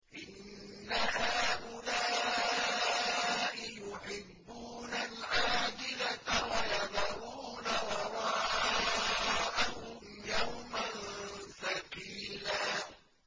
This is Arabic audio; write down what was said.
إِنَّ هَٰؤُلَاءِ يُحِبُّونَ الْعَاجِلَةَ وَيَذَرُونَ وَرَاءَهُمْ يَوْمًا ثَقِيلًا